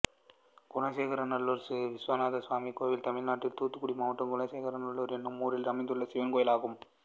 குலசேகரநல்லூர் விஸ்வநாதசுவாமி கோயில் தமிழ்நாட்டில் தூத்துக்குடி மாவட்டம் குலசேகரநல்லூர் என்னும் ஊரில் அமைந்துள்ள சிவன் கோயிலாகும்